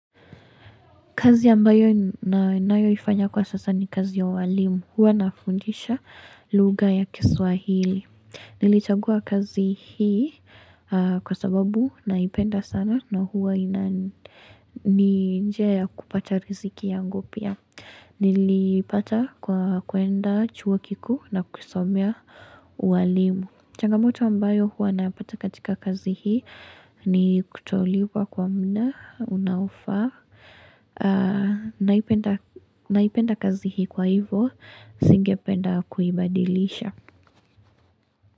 Kazi ambayo ninayoifanya kwa sasa ni kazi ya walimu. Huwa nafundisha lugha ya kiswahili. Nilichagua kazi hii kwa sababu naipenda sana na huwa ina ni njia kupata riziki yangu pia. Niliipata kwa kuenda chuo kikuu na kusomea uwalimu. Changamoto ambayo huwa nayapata katika kazi hii ni kutolipwa kwa muda unaofaa. Naipenda kazi hii kwa hivyo, singependa kuibadilisha.